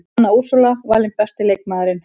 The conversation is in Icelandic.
Anna Úrsúla valin besti leikmaðurinn